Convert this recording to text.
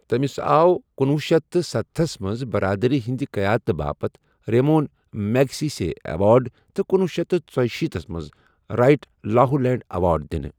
تمِس آو کُنوُہ شیتھ تہٕ ستَستتھس منز برادری ہندِ قیادتہٕ باپتھ ریمون میگسیسے اہوارڈ تہٕ کنُوُہ شیتھ تہٕ ژُشیٖتھس منز رایٹ لاہولیہُڈ اہوارڈ دِنہٕ ۔